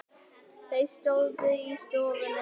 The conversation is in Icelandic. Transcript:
Þau stóðu í stofunni.